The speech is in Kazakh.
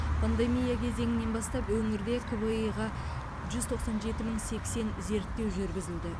пандемия кезеңінен бастап өңірде кви ға жүз тоқсан жеті мың сексен зерттеу жүргізілді